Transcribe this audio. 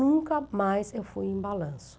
Nunca mais eu fui em balanço.